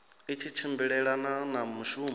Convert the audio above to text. i tshi tshimbilelana na mushumo